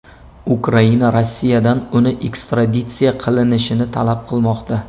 Ukraina Rossiyadan uni ekstraditsiya qilinishini talab qilmoqda.